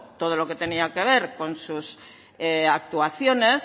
todo lo que tenía que ver con sus actuaciones